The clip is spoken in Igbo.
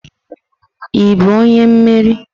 Ị bụ onye mmeri?